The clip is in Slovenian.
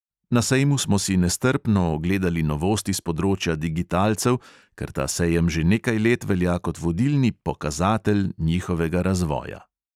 Na sejmu smo si nestrpno ogledali novosti s področja digitalcev, ker ta sejem že nekaj let velja kot vodilni "pokazatelj" njihovega razvoja.